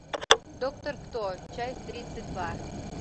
доктор кто часть тридцать два